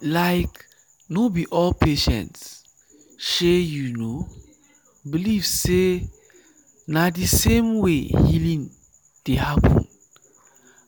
like no be all patients shey you know believe sey na the same way healing dey happen